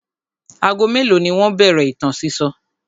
Ago mélòó ni wọ́n bẹ̀rẹ̀ ìtàn sísọ?